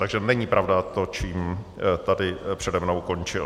Takže není pravda to, čím tady přede mnou končil.